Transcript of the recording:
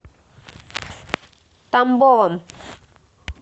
тамбовом